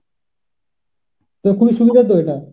তো খুবই সুবিধা তো এটা।